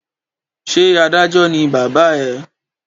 Ṣé adájọ́ ní bàbá ẹ?